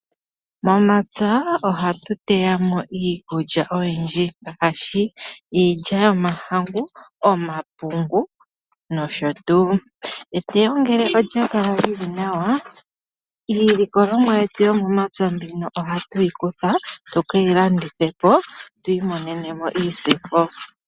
Momapya ohatu teya mo iikulya oyindji. Ngaashi iilya yomahangu , omapungu nosho tuu. Eteyo ngele olya kala lili nawa iilikolomwa yetu yomomapya mbino ohatu yi kutha tuke yi landithe po twiimonene mo iisimpo.